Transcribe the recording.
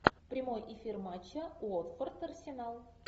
прямой эфир матча уотфорд арсенал